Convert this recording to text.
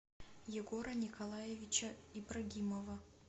егора николаевича ибрагимова